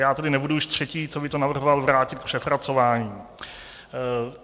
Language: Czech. Já tedy nebudu už třetí, co by to navrhoval vrátit k přepracování.